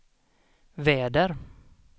väder